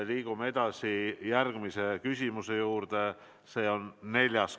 Liigume edasi järgmise küsimuse juurde, see on neljas.